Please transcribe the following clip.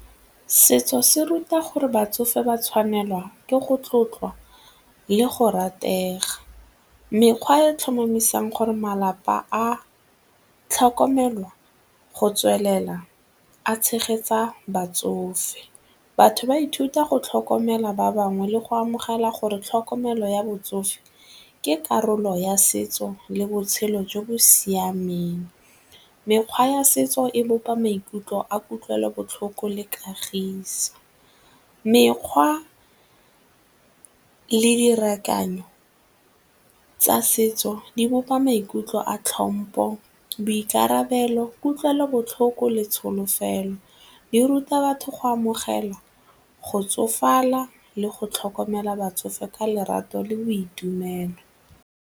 Setso se ruta gore batsofe ba tshwanelwa ke go tlotliwa le go rategwa. Mekgwa e e tlhomamisang gore malapa a tlhokomelwa go tswelela a tshegetsa batsofe. Batho ba ithuta go tlhokomela ba bangwe le go amogela gore tlhokomelo ya botsofe ke karolo ya setso le botshelo jo bo siameng. Mekgwa ya setso e bopa maikutlo a kutlwelobotlhoko le kagiso. Mekgwa le tsa setso di bopa a tlhompho, boikarabelo, kutlwelobotlhoko le tsholofelo, di ruta batho go amogela, go tsofala le go tlhokomela batsofe ka lerato le boitumelo.